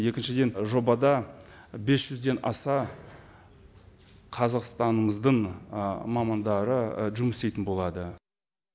екіншіден жобада бес жүзден аса қазақстанымыздың мамандары жұмыс істейтін болады